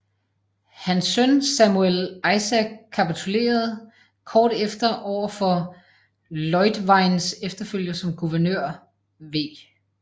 Hans søn Samuel Isaac kapitulerede kort efter over for Leutweins efterfølger som guvernør v